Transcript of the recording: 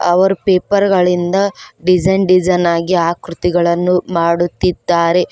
ಅವರು ಪೇಪರ್ ಗಳಿಂದ ಡಿಸೈನ್ ಆಗಿ ಆಕೃತಿಗಳನ್ನು ಮಾಡುತ್ತಿದ್ದಾರೆ.